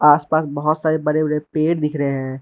आसपास बहुत सारे बड़े बड़े पेड़ दिख रहे हैं।